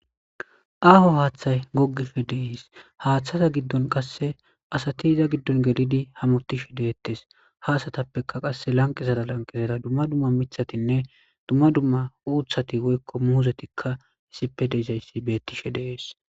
Aho hatay gogishe de'es hathaza gidon qase asati iza gidon gelidi hamutishe de'etes ha asatape qaseka lanqezara lanqezara duma duma mithatinne duma duma uthati woyko muzetikka issipe de'izaysi betishe de'es.